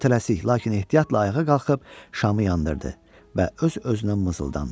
O tələsik, lakin ehtiyatla ayağa qalxıb şamı yandırdı və öz-özünə mızıldandı.